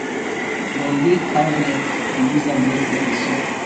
dem dey cow leg to use am make peppersoup